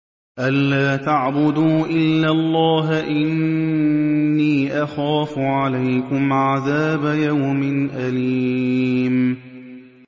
أَن لَّا تَعْبُدُوا إِلَّا اللَّهَ ۖ إِنِّي أَخَافُ عَلَيْكُمْ عَذَابَ يَوْمٍ أَلِيمٍ